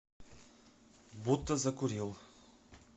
будто закурил